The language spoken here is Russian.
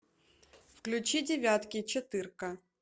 включи девятки четырка